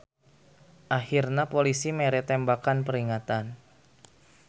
Ahirna polisi mere tembakan peringatan.